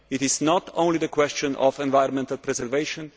It is not only a question of environmental preservation